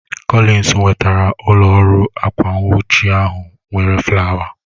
Collins wetara ụlọ ọrụ akwa nwuchi ahụ nwere flawa